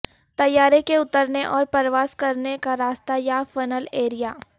طیارے کے اترنے اور پرواز کرنے کا راستہ یا فنل ایریا